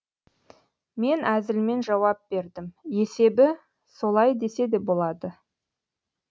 мен әзілмен жауап бердім есебі солай десе де болады